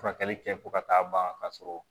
Furakɛli kɛ fo ka taa ban ka sɔrɔ